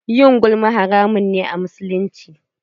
Yin gulma haramun ne a musulunci.